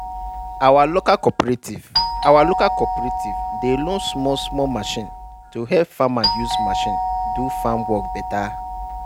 our local cooperative our local cooperative dey loan small small machine to help farmer use machine do farm work better.